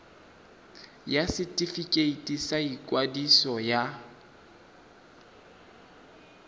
ya setefikeiti sa ikwadiso ya